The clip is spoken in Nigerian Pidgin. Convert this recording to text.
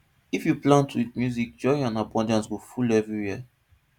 if you plant with music joy and abundance spirit go full everywhere